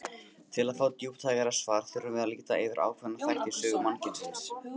Til að fá djúptækara svar þurfum við að líta yfir ákveðna þætti í sögu mannkynsins.